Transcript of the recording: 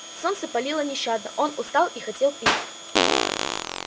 солнце палило нещадно он устал и хотел пить